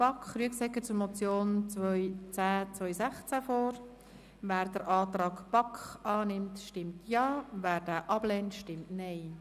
Wer den Antrag der BaK zur Motion 2102016 von Grossrat Rüegsegger annimmt, stimmt Ja, wer dies ablehnt, stimmt Nein.